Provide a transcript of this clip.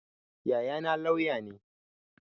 Yayana lauya ne